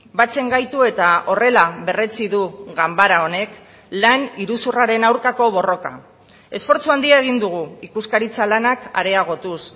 batzen gaitu eta horrela berretsi du ganbara honek lan iruzurraren aurkako borroka esfortzu handia egin dugu ikuskaritza lanak areagotuz